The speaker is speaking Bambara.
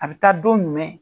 A bi taa don jumɛn?